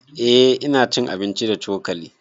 Eh ina cin abinci da cokali